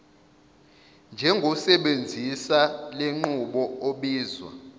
njengosebenzisa lenqubo obizwa